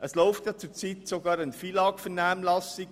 Es läuft zurzeit auch eine FILAG-Vernehmlassung.